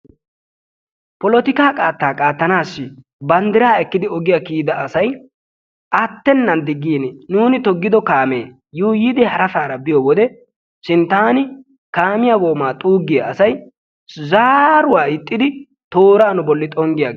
Polotikka qatta qattanassi banddira ekki ogiyaa kiyida asay attenan diggin nuni toggido kaame yuuyidi harasara biyo wode sinttani kaamiyaa goomaa xuugiya asay zaaruwaa ixxidi tooraa nu bollan xonggiyagis.